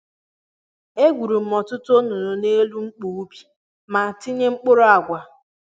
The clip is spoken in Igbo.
E gwuru m ọtụtụ onunu n'elu mkpu ubi ma tinye mkpụrụ àgwà